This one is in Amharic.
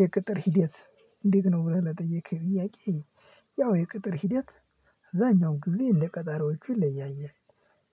የቅጥር ሂደት። እንዴት ነው ብለህ ለጠየከኝ ጥያቄ? ያው የቅጥር ሂደት አዛኛው ጊዜ እንደ ቀጣሪዎቹ ይለያያል።